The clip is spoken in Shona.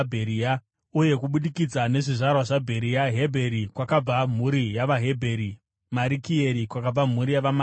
uye kubudikidza nezvizvarwa zvavaBheria: Hebheri, kwakabva mhuri yavaHebheri; Marikieri, kwakabva mhuri yavaMarikieri.